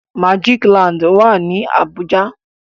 Magic land wá ní Abuja